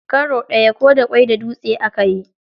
Karo ɗaya, ko da ƙwai da dutse a yi.